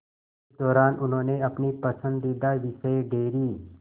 इस दौरान उन्होंने अपने पसंदीदा विषय डेयरी